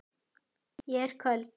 Ég er köld.